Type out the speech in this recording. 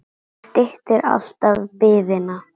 Það styttir alltaf biðina.